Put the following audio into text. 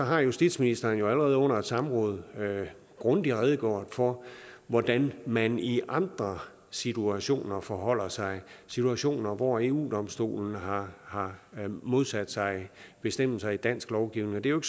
har justitsministeren jo allerede under et samråd grundigt redegjort for hvordan man i andre situationer forholder sig situationer hvor eu domstolen har har modsat sig bestemmelser i dansk lovgivning det er jo